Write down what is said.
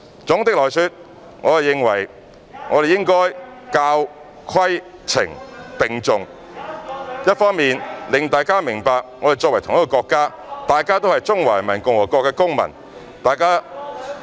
總的來說，我認為我們應該教、規、懲並重，一方面令大家明白我們在同一個國家，大家都是中華人民共和國的公民。